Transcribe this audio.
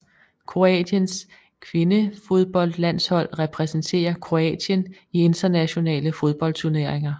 Kroatiens kvindefodboldlandshold repræsenterer Kroatien i internationale fodboldturneringer